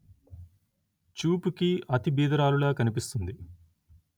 చూపుకి అతి బీదరాలులా కనిపిస్తుంది